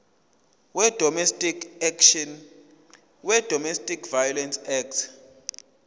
wedomestic violence act